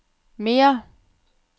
mere